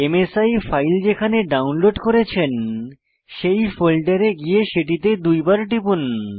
মাসি ফাইল যেখানে ডাউনলোড করেছেন সেই ফোল্ডারে গিয়ে সেটিতে দুই বার টিপুন